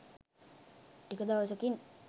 ටික දවසකින්